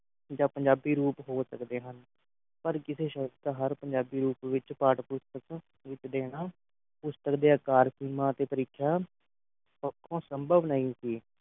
ਜਾਂ ਪੰਜਾਬੀ ਰੂਪ ਹੋ ਸਕਦੇ ਹਨ ਪਰ ਕਿਸੇ ਸ਼ਸ਼ਤ ਹਰ ਪੰਜਾਬੀ ਰੂਪ ਵਿੱਚ ਪਾਠ ਪੁਸਤਕ ਵਿੱਚ ਦੇਣਾ ਪੁਸਤਕ ਦੇ ਆਕਾਰ ਸੀਮਾ ਤੇ ਪਰੀਖਿਆ ਪੱਖੋਂ ਸੰਭਵ ਨਹੀਂ ਸੀ